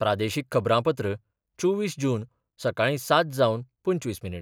प्रादेशीक खबरांपत्र चोवीस जून, सकाळी सात जावन पंचवीस मिनीट